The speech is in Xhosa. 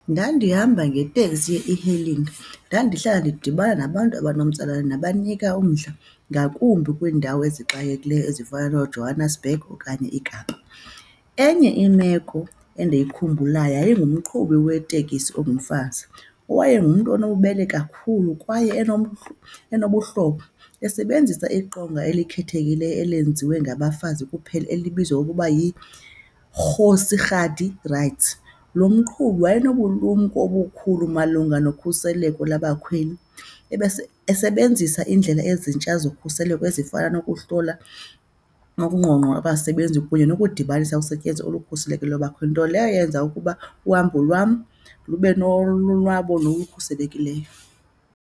Ndandihamba ngeteksi ye-e-hailing, ndandihlala ndidibana nabantu abanomtsalane nabanika umdla, ngakumbi kwiindawo ezixakekileyo ezifana nooJohannesburg okanye iKapa. Enye imeko endiyikhumbulayo yayingumqhubi wetekisi ongumfazi owayengumntu onobubele kakhulu, kwaye enobuhlobo, esebenzisa iqonga elikhethekileyo elenziwe ngabafazi kuphela elibizwa ngokuba yiKgosi Kgadi Rights. Loo mqhubi wayenobulumko obukhulu malunga nokhuseleko labakhweli esebenzisa iindlela ezintsha zokhuseleko ezifana nokuhlola okungqongqo abasebenzi kunye nokudibanisa usetyenziso olukhuselekileyo labakhweli, nto leyo yenza ukuba uhambo lwam lube nolonwabo nokukhuselekileyo.